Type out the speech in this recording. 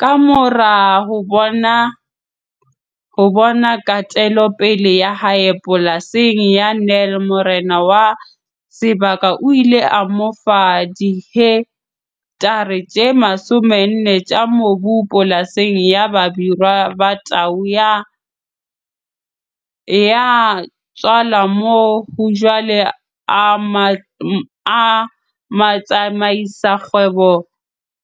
Kamora ho bona kgatelopele ya hae polasing ya Nel morena wa sebaka o ile a mo fa dihektare tse 40 tsa mobu polasing ya Babirwa Ba Tau Ya Tswala moo hajwale